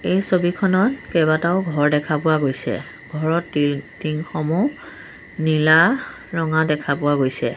এই ছবিখনত কেইবাটাও ঘৰ দেখা পোৱা গৈছে ঘৰৰ তিল টিং সমূহ নীলা ৰঙা দেখা পোৱা গৈছে।